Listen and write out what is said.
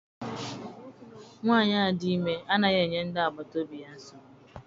Nwaanyi a dị ime anaghị enye ndị agbata obi ya nsogbu.